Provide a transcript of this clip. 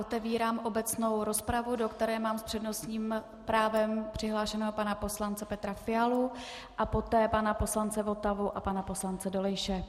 Otevírám obecnou rozpravu, do které mám s přednostním právem přihlášeného pana poslance Petra Fialu a poté pana poslance Votavu a pana poslance Dolejše.